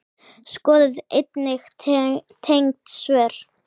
Skoðið einnig tengd svör